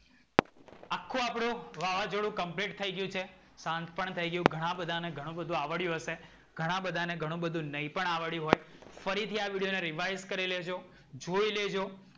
આખું આપડું વાવજોડું complete થઈ ગયું છે. સાંજ પણ થઈ ગયું ઘણા બધાને ને ઘણું બધુ આવડ્યું હશે. ઘણા બધાને ને ઘણું બધુ નૈ પણ આવડ્યું હોય. ફરીથી આ વિડિયો ને revise કરી લેજો. જોઈ લેજો.